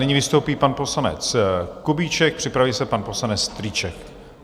Nyní vystoupí pan poslanec Kubíček, připraví se pan poslanec Strýček.